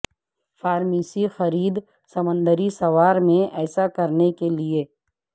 pharmacy خرید سمندری سوار میں ایسا کرنے کے لئے